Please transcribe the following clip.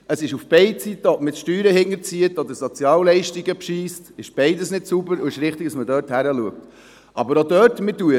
Es gilt auf beide Seiten: Ob man Steuern hinterzieht oder bei den Sozialleistungen betrügt – beides ist nicht sauber, und es ist richtig, dass man dort hinschaut.